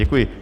Děkuji.